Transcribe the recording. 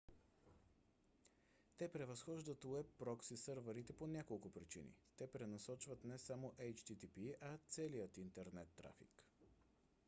те превъзхождат уеб прокси сървърите по няколко причини: те пренасочват не само http а целия интернет трафик